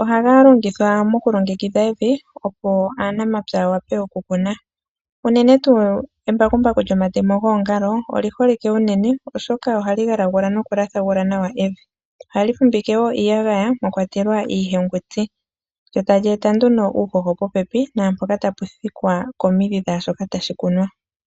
Ohaga longithwa mokulongekidha evi, opo aanamapya ya wape okukuna. Unene tuu embakumbaku lyomatemo goongalo oli holike unene, oshoka ohali galagula nokulathagula nawa evi. Ohali fumvike nawa iiyagaya mwa kwatelwa iihenguti. Lyo tali eta nduno uuhoho popepi naampoka tapu thikwa komidhi dhaa shoka tashi kunwa.